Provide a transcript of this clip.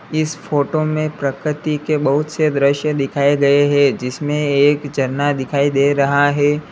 इस फोटो में प्रकृति के बहुत से दृश्य दिखाए गए हैं जिसमें एक झरना दिखाई दे रहा है।